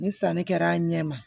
Ni sanni kɛra a ɲɛ ma